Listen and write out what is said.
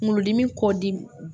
Kunkolodimi kɔ di